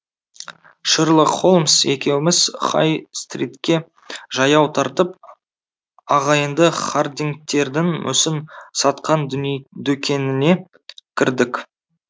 шерлок холмс екеуіміз хай стритке жаяу тартып ағайынды хардингтердің мүсін сатқан дүкеніне кірдік